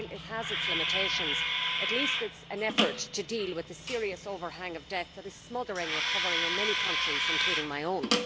While it has its limitations, at least it is an effort to deal with the serious overhang of debt which is smothering recovery in many countries, including my own.